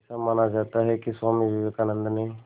ऐसा माना जाता है कि स्वामी विवेकानंद ने